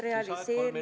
Palun!